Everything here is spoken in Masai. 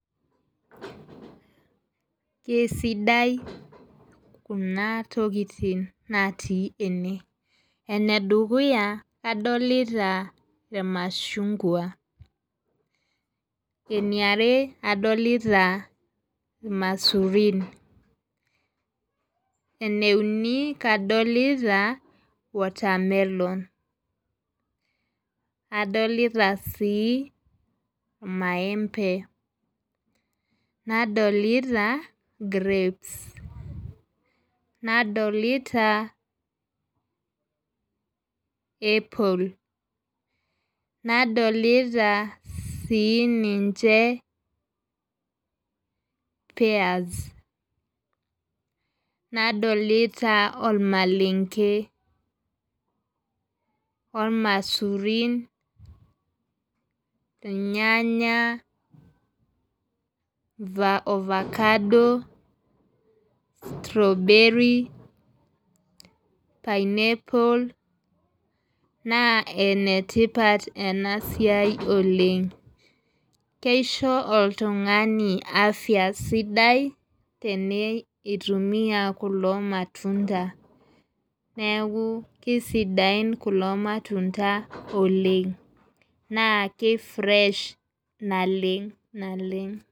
Kesidai kunatokitin natii ene enedukuya adolta irmashungwa eniare adolta irmaisurin eneuni kadolta watermelon adolta si maembe, nadolita grapes nadolita apple nadolita sininche peas nadolita ormalenke ormaisurin irnyanya ofakado strawberry pinapple na enetipat enasiai oleng anu kiso oltungani afya sidai tenutumia kulo matunda neaku Kesidain kulo matunda oleng na kifresh naleng naleng